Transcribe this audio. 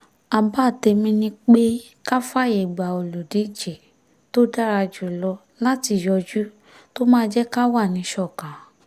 àbá tèmi ni pé ká fààyè gba olùdíje tó dára jù lọ láti yọjú tó máa jẹ́ ká wà níṣọ̀kan